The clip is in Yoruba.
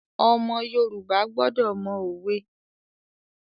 Ọmọ Yorùbá gbọdọ̀ mọ òwe.